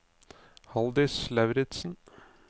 Halldis Lauritsen